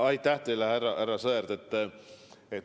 Aitäh teile, härra Sõerd!